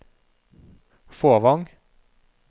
Fåvang